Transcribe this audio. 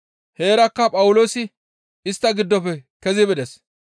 Heerakka Phawuloosi istta giddofe kezi bides.